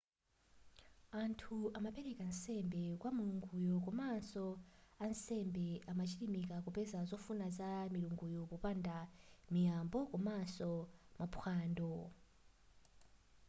anthu amapereka nsembe kwa milunguyo komanso ansembe amachilimika kupeza zofuna za milunguyo popanga miyambo komanso maphwando